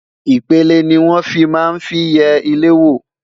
ipele ní wọn fí má n fí yé ilé wo